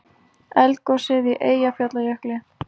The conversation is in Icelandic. Eldgosið í Eyjafjallajökli.